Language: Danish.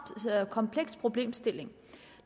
kompleks problemstilling